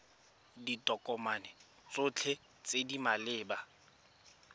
ditokomane tsotlhe tse di maleba